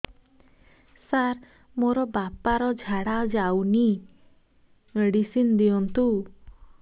ସାର ମୋର ବାପା ର ଝାଡା ଯାଉନି ମେଡିସିନ ଦିଅନ୍ତୁ